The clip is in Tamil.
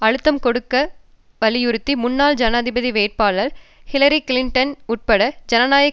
அழுத்தம் கொடுக்க வலியுறுத்தி முன்னாள் ஜனாதிபதி வேட்பாளர் ஹிலாரி கிளிண்டன் உட்பட ஜனநாயக